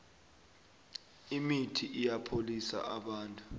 imithi iyabapholisa abantu